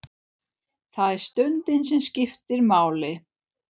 Það er stundin sem skiptir máli.